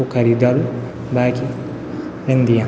वू खरीदयालु बाकी रैन दियां।